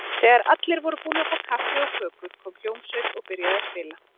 Þegar allir voru búnir að fá kaffi og kökur kom hljómsveit og byrjaði að spila.